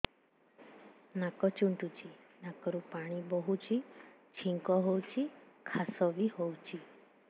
ନାକ ଚୁଣ୍ଟୁଚି ନାକରୁ ପାଣି ବହୁଛି ଛିଙ୍କ ହଉଚି ଖାସ ବି ହଉଚି